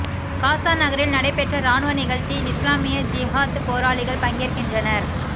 காசா நகரில் நடைபெற்ற இராணுவ நிகழ்ச்சியில் இஸ்லாமிய ஜிஹாத் போராளிகள் பங்கேற்கின்றனர்